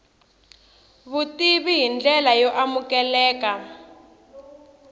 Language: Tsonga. vutivi hi ndlela yo amukeleka